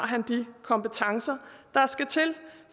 han de kompetencer der skulle til